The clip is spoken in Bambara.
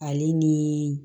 Ale ni